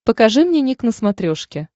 покажи мне ник на смотрешке